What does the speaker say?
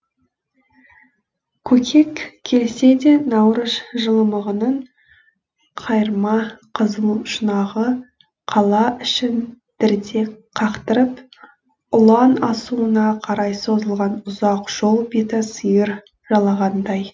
көкек келсе де наурыз жылымығының қайырма қызыл шұнағы қала ішін дірдек қақтырып ұлан асуына қарай созылған ұзақ жол беті сиыр жалағандай